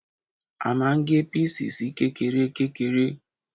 A máa ń gé píìsì sí kékeré kékeré